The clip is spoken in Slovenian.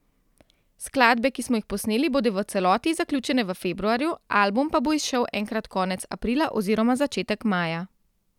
Skladbe, ki smo jih posneli, bodo v celoti zaključene v februarju, album pa bo izšel enkrat konec aprila oziroma začetek maja.